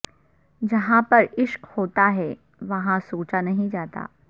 جہاں پر عشق ہوتا ہے وہاں سوچا نہیں جاتا